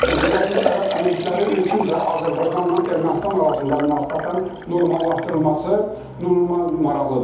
Birləşmiş Ərəb Əmirlikləri üçün də Azərbaycanla Ermənistan arasında münasibətlərin normallaşdırılması normal maraqlıdır.